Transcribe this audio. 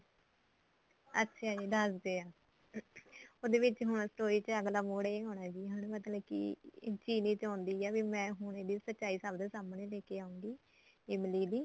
ਅੱਛਾ ਜੀ ਦਸਦੀ ਆ ਉਹਦੇ ਵਿਚ ਹੁਣ story ਦੇ ਅੱਗਲਾ ਮੋੜ ਇਹ ਹੋਣਾ ਵੀ ਮਤਲਬ ਕਿ ਚਿਰੀ ਚਾਉਂਦੀ ਐ ਕਿ ਮੈਂ ਹੁਣ ਇਹਦੀ ਸਚਾਈ ਸਭ ਦੇ ਸਾਮਨੇ ਲੈ ਕੇ ਆਉਗੀ ਇਮਲੀ ਦੀ